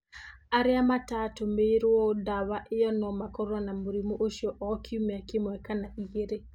Arĩa mataatũmĩirũo ndawa ĩyo no makorũo na mũrimũ ũcio o kiumia kĩmwe kana igĩrĩ.